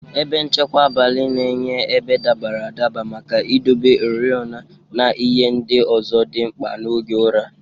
Ebe nchekwa abalị na-enye ebe dabara adaba maka idobe oriọna, na ihe ndị ọzọ dị mkpa n'oge ụra.